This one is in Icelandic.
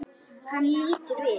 Hann lítur við.